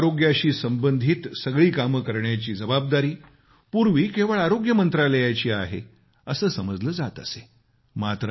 देशात आरोग्याशी संबंधित सगळी कामं करण्याची जबाबदारी पूर्वी केवळ आरोग्य मंत्रालयाची आहे असं समजलं जात असे